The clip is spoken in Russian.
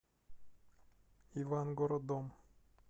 ивангородом